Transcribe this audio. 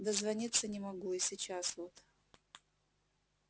дозвониться не могу и сейчас вот